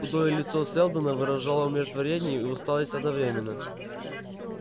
худое лицо сэлдона выражало умиротворение и усталость одновременно